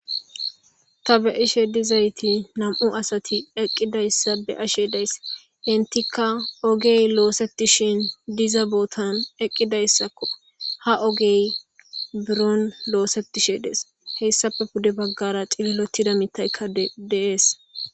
Ta be'ishe duzayti nam'u asati eqidaysa be'ashe daysi entaka ogey losetishn diza botan eqidaysako, ha ogey buron osetishe des, heysappe pude bagara cililotida mithayka de'es